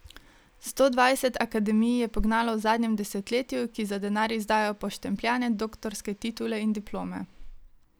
Sto dvajset akademij je pognalo v zadnjem desetletju, ki za denar izdajajo poštempljane doktorske titule in diplome.